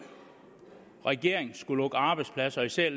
regering skulle lukke arbejdspladser især